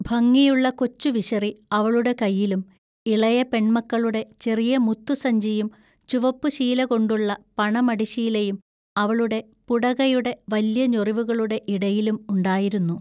ഭംഗിയുള്ള കൊച്ചുവിശറി അവളുടെ കയ്യിലും ഇളയ പെൺ മക്കളുടെ ചെറിയ മുത്തു സഞ്ചിയും ചുവപ്പുശീലകൊണ്ടുള്ള പണമടിശീലയും അവളുടെ പുടകയുടെ വല്യഞൊറിവുകളുടെ ഇടയിലും ഉണ്ടായിരുന്നു.